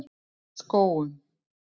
Skógum